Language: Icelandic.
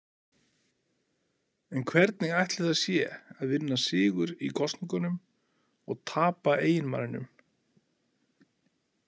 En hvernig ætli það sé að vinna sigur í kosningunum og tapa eiginmanninum?